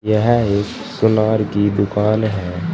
यह एक सुनार की दुकान है।